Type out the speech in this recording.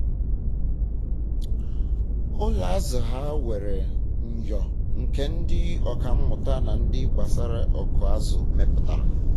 ụlọ azụ ha um nwere myọ nke ndị ọka mmụta na ihe gbasara ikọ azụ meputara